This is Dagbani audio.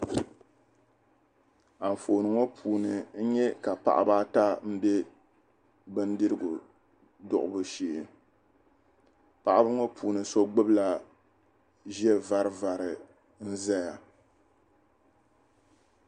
Anfooni ŋɔ puuni n nya ka paɣiba ata m-be bindirigu duɣibu shee. Paɣiba ŋɔ puuni so gbibila ʒiɛvarivari n-zaya.